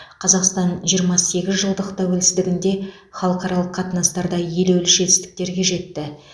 қазақстан жиырма сегіз жылдық тәуелсіздігінде халықаралық қатынастарда елеулі жетістіктерге жетті